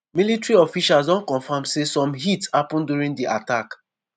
military officials don confam say some hits happun during di attack.